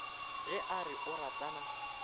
ge a re o ratana